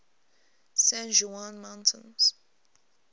san juan mountains